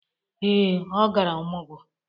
Ee, ọ gara ọmọgwọ.